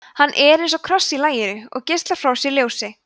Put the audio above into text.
hann er eins og kross í laginu og geislar frá sér ljósi